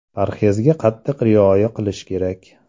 Parhezga qattiq rioya qilish kerak.